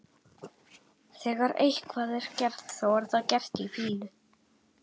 Þegar eitthvað er gert, þá er það gert í fýlu.